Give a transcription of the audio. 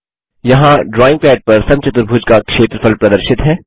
यहाँ drawing pad पर समचतुर्भुज का क्षेत्रफल प्रदर्शित है